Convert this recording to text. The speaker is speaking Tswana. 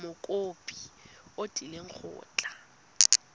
mokopi o tlile go tla